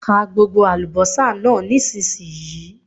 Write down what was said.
Ka gbogbo àlùbọ́sà náà nísìnyí!